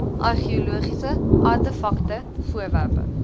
argeologiese artefakte voorwerpe